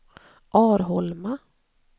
Arholma